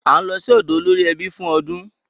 À ń lọ sí ọ̀dọ̀ olórí ẹbí fún ọdún